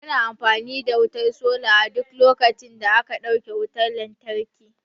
Mu na amfani da wutar sola a duk lokacin da aka dauke wutar lantarki